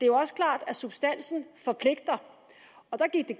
jo også klart at substansen forpligter og der gik det